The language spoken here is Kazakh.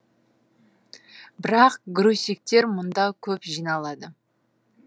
бірақ грузчиктер мұнда көп жиналады